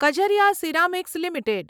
Kajaria ceramics limited